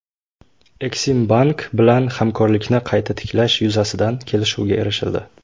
Eksimbank bilan hamkorlikni qayta tiklash yuzasidan kelishuvga erishildi.